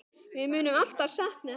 Við munum alltaf sakna hennar.